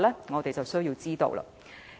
我們實有需要知道。